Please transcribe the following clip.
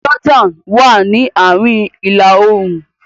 Jordan wá ní àárín ila-oorun.